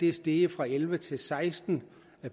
er steget fra elleve til seksten